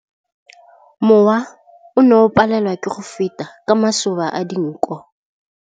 Mowa o ne o palelwa ke go feta ka masoba a dinko.